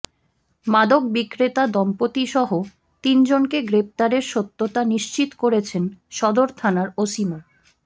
মাদক বিক্রেতা দম্পতিসহ তিনজনকে গ্রেপ্তারের সত্যতা নিশ্চিত করেছেন সদর থানার ওসি মো